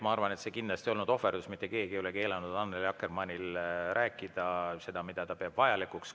Ma arvan, et see kindlasti ei olnud ohverdus, mitte keegi ei ole keelanud Annely Akkermannil rääkida seda, mida ta peab vajalikuks.